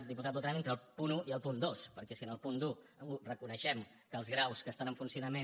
diputat botran entre el punt un i el punt dos perquè si en el punt un reconeixem que els graus que estan en funcionament